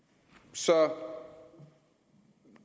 så